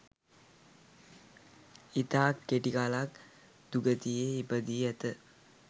ඉතා කෙටිකලක් දුගතියේ ඉපදී ඇත